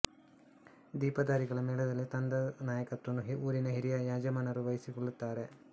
ದೀಪಧಾರಿಗಳ ಮೇಳದಲ್ಲಿ ತಂಡದ ನಾಯಕತ್ವವನ್ನು ಊರಿನ ಹಿರಿಯ ಯಜಮಾನರು ವಹಿಸಿಕೊಳ್ಳುತ್ತಾರೆ